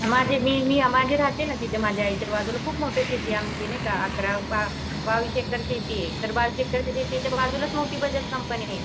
माझे मी ह्या माझे राहते ना माझ्या ह्याच्या बाजूला खूप मोठी शेतीये आमची नाहीका अकरा बा बावीस एकर शेतीये तर बावीस एकर शेतीये त्याच्या बाजूलाच मोठी बाजाज कंपनीये